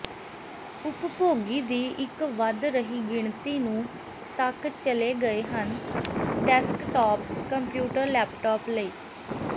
ਉਪਭੋਗੀ ਦੀ ਇੱਕ ਵਧ ਰਹੀ ਗਿਣਤੀ ਨੂੰ ਤੱਕ ਚਲੇ ਗਏ ਹਨ ਡੈਸਕਟਾਪ ਕੰਪਿਊਟਰ ਲੈਪਟਾਪ ਲਈ